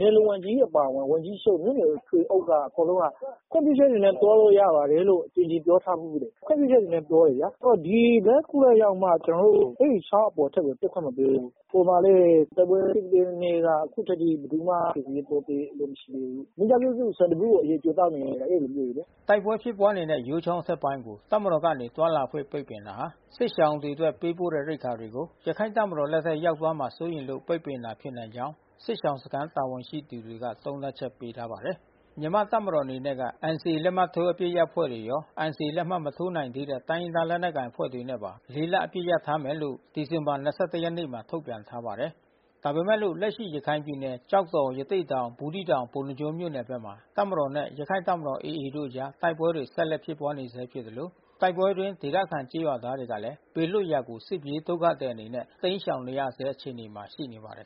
နယ်လုံဝန်ကြီးအပါအဝင် ဝန်ကြီးချုပ် မြို့နယ်ထွေအုပ်က အကုန်လုံးကခွင့်ပြုချက်တွေနဲ့သွားလို့ရပါတယ် လို့ အကြိမ်ကြိမ်ပြောထားဘူးတယ်။ ခွင့်ပြုချက်တွေနဲ့ပြောတယ်ဗျာ။ လမ်းခုလတ်ရောက်မှ ကျွန်တော်တို့ကို အဲဒီချောင်း အပေါ်ဖက်ကိုတက်ခွင့်မပေးဘူး။ ဟိုမှာလဲတိုက်ပွဲဖြစ်တဲ့နေကအခုထိ ကယ်ဆယ်ရေးသွားပေးတာမရှိဘူး။ မိသားစုတစု ဆန်တဗူးကိုအရည်ကြိုသောက်နေရတယ်။ အဲဒီလိုမျိုးတွေလေ။” တိုက်ပွဲဖြစ်ပွါးနေတဲ့ယိုးချောင်းအထက်ပိုင်းကို တပ်မတော်ကနေသွားခွင့်ပိတ်ပင်တာဟာ စစ်ရှောင်တွေအတွက်ပေးပို့တဲ့ ရိက္ခာတွေကို ရခိုင့်တပ်မတော်လက်ထဲရောက်သွားမှာစိုးရိမ်လို့ပိတ်ပင်တာဖြစ်နိုင်ကြောင်း စစ်ရှောင်စခမ်းတာဝန်ရှိသူတွေ ကသုံးသပ်ချက်ပေးထားပါတယ်။ မြန်မာ့တပ်မတော်အနေနဲ့က NCA လက်မှတ်ထိုးအပစ်ရပ်အဖွဲ့ရော NCA လက်မှတ်မထိုးနိုင်သေးတဲ့ တိုင်းရင်းသား လက်နက် ကိုင်အဖွဲ့တွေနဲ့ပါ လ အပစ်ရပ်ထားမယ်လို့ ဒီဇင်ဘာ ၂၁ ရက်နေ့မှာ ထုတ်ပြန်ထားပါတယ်။ ဒါပေမဲ့လို့လက်ရှိရခိုင်ပြည်နယ်ကျောက်တော်ရသေ့တောင်ဘူးသီးတောင် ပုဏ္ဏားကျွန်းမြို့နယ်ဘက်မှာ တပ်မတော်နဲ့ရခိုင့်တပ်မတော်AAတို့အကြားတိုက်ပွဲတွေဆက်လက်ဖြစ်ပွါးနေဆဲဖြစ်သလို တိုက်ပွဲအတွင်းဒေသခံကျေးရွာသားတွေကလဲ ဘေး လွတ်ရာကို စစ်ပြေးဒုက္ခသည်အနေနဲ့တိမ်းရှောင်နေရဆဲအခြေအနေမှာရှိနေပါတယ်